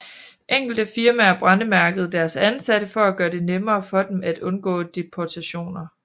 Enkelte firmaer brændemærkede deres ansatte for at gøre det nemmere for dem at undgå deportationer